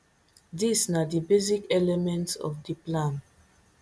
dis na di basic elements of di plan